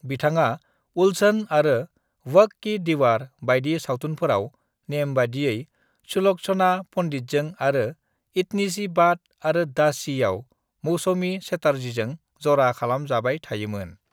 """बिथाङा """"उलझन"""" आरो """"वक्त की दीवार"""" बायदि सावथुनफोराव नेमबायदियै सुलक्षणा पंडितजों आरो """"इतनी सी बात"""" आरो """"दासी""""आव मौसमी चटर्जीजों जरा खालाम जाबाय थायो मोन ।"""